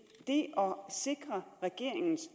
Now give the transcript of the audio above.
sikre regeringens